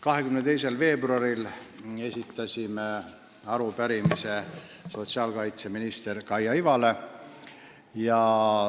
22. veebruaril esitasime arupärimise sotsiaalkaitseminister Kaia Ivale.